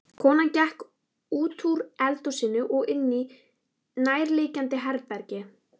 Konan gekk útúr eldhúsinu og inní nærliggjandi herbergi.